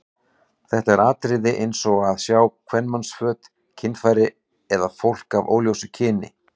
Þetta eru atriði eins og að sjá kvenmannsföt, kynfæri eða fólk af óljósu kyni.